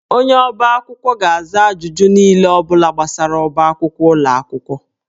Onye ọbá akwụkwọ ga-aza ajụjụ n'ihe ọ bụla gbasara ọbá akwụkwọ ụlọ akwụkwọ